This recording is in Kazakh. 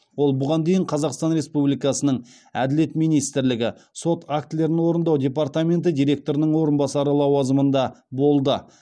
ол бұған дейін қазақстан республикасының әділет министрлігі сот актілерін орындау департаменті директорының орынбасары лауазымында болды